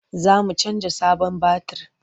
Za mu canja sabon batir.